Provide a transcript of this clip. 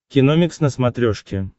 киномикс на смотрешке